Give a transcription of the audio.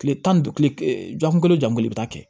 Kile tan ni duuru kilejan o ja kelen i bɛ taa kɛ